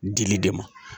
Dili de ma